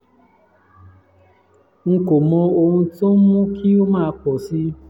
n kò mọ ohun tó ń mú kí ó máa pọ̀ si